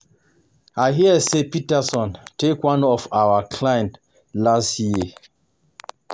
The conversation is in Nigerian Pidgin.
I hear say Peterson take one of your client last year